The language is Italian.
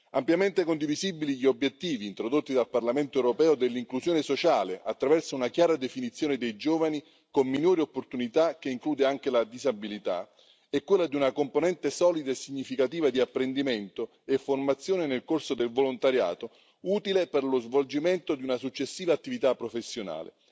Ampiamente condivisibili gli obiettivi introdotti dal Parlamento europeo dell'inclusione sociale attraverso una chiara definizione dei giovani con minori opportunità, che include anche la disabilità, e quella di una componente solida e significativa di apprendimento e formazione nel corso del volontariato, utile per lo svolgimento di una successiva attività professionale.